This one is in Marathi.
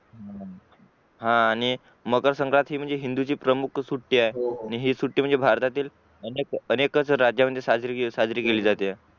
हा आणि मकरसंक्रात ही म्हणजे हिंदूंची प्रमुख सुटी आहे ही सुटी म्हणजे भारतातील अनेक राजात साजरी केली जाते